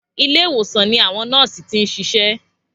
Ilé ìwòsan ní àwọn nọ́ọ̀sì tí n sisé